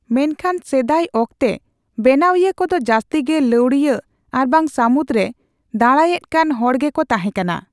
ᱢᱮᱱᱠᱷᱟᱱ, ᱥᱮᱫᱟᱭ ᱚᱠᱛᱮ, ᱵᱮᱱᱟᱣᱤᱭᱟᱹ ᱠᱚᱫᱚ ᱡᱟᱹᱥᱛᱤ ᱜᱮ ᱞᱟᱹᱣᱲᱤᱭᱟᱹ ᱟᱨᱵᱟᱝ ᱥᱟᱹᱢᱩᱫᱽ ᱨᱮ ᱫᱟᱬᱟᱭᱮᱫ ᱠᱟᱱ ᱦᱚᱲ ᱜᱮᱠᱚ ᱛᱟᱦᱮᱸᱠᱟᱱᱟ ᱾